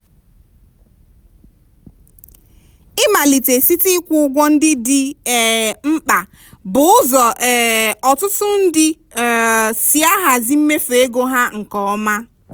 ịmalite site ịkwụ ụgwọ ndị dị um mkpa bụ ụzọ um ọtụtụ ndị um si ahazi mmefu ego ha nke ọma.